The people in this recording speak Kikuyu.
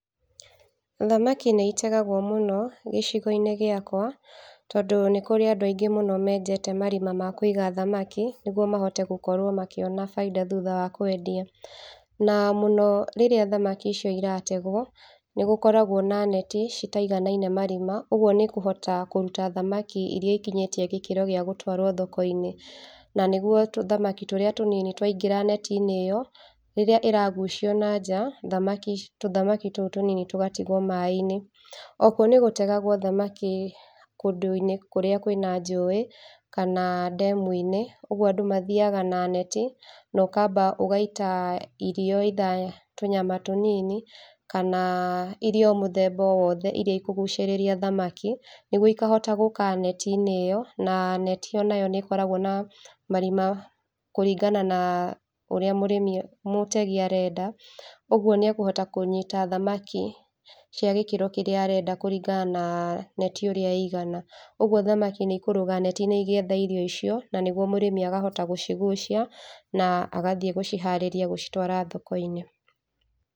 Thamaki nĩ itegagwo mũno gĩcigo-inĩ gĩakwa tondũ nĩkũrĩ andũ aingĩ mũno menjete marima ma kũiga thamaki nĩguo mahote gũkorwo makĩona baida thutha wa kwendia. Na mũno rĩrĩa thamaki icio irategwo, nĩgũkoragwo na neti citaiganaine marima ũguo nĩ kũhota kũruta thamaki iria ikinyĩte gĩkĩro gĩa gũtwarwo thoko-inĩ na nĩguo tũthamaki turĩa tũnini twaingĩra neti-inĩ ĩyo, rĩrĩa ĩragucio nanja thamaki icio tũthamaki tũũ tũnini tũgatigwo maĩĩ-inĩ. Oho nĩgũtegagwo thamaki kũndũ-inĩ kũrĩa kwĩna njũwĩ kana demu-inĩ ũguo andũ mathiaga na neti nokamba gũita irio either tũnyama tũnini kana irio mũthemba oro wothe iria ikũgucĩrĩria thamaki, nĩguo ikahota gũka neti-inĩ ĩyo na neti onayo nĩĩkoragwo na marima kũringana na ũrĩa mũrĩmi mũtegi arenda, ũguo nĩekũhota kũnyita thamaki cia gĩkĩro kĩrĩa arenda kũrĩngana na neti ũrĩa ĩigana. Ũguo thamaki nĩikũrũga neti-inĩ igĩetha irio icio na nĩguo mũrĩmi akahota gũcigucia na agathiĩ gũciharĩrĩa gũcitwara thoko-inĩ.